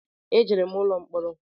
E jere m ụlọ mkporo